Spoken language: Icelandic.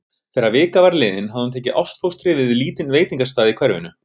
Þegar vika var liðin hafði hún tekið ástfóstri við lítinn veitingastað í hverfinu.